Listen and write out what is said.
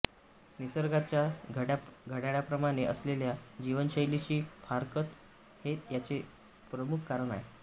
निसर्गाच्या घड्याळाप्रमाणे असलेल्या जीवनशैलीशी फारकत हे याचे प्रमुख कारण आहे